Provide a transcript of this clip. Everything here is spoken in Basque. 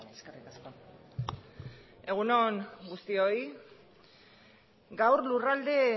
eskerrik asko egun on guztioi gaur lurralde